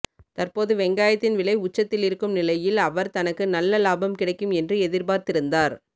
தற்போது வெங்காயத்தின் விலை உச்சத்தில் இருக்கும் நிலையில் அவர் தனக்கு நல்ல லாபம் கிடைக்கும் என்று எதிர்பார்த்திருந்தார்